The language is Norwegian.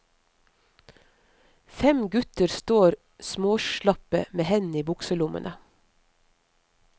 Fem gutter står småslappe med hendene i bukselommene.